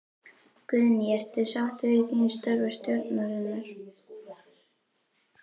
Guðný: Ert þú sáttur við þín störf og stjórnarinnar?